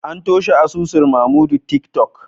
An toshe asusun Mamodu tiktok